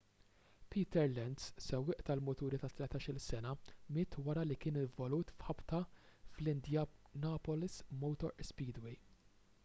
peter lenz sewwieq tal-muturi ta' 13-il sena miet wara li kien involut f'ħabta fl-indianapolis motor speedway